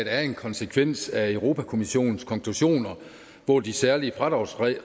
er en konsekvens af europa kommissionens konklusioner hvor de særlige fradragsregler